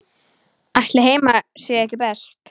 Ætli heima sé ekki best?